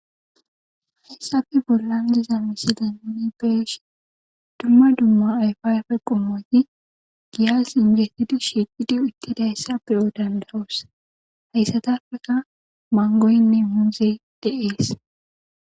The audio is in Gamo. Hayssappe bolla diza misilen nuni beyishin dumma dumma ayfa ayfe qommoti giyan singgetidi shiqqidi uttidayssa beyo,hessatappe giddon Manggoynne muzey dees.